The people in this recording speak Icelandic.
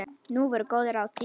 Nú voru góð ráð dýr!